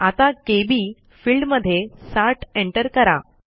आता KB field मध्ये 60 enter करा